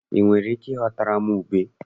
I nwere ike igotere m ube?